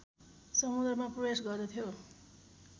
समुद्रमा प्रवेश गर्दथ्यो